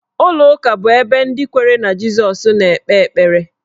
Ụlọụka bụ ebe ndị kwere na Jisọs na-ekpe ekpere.